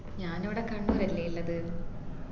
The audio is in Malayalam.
ഞാൻ ഇവിട കണ്ണുരല്ലെ ഇള്ളത്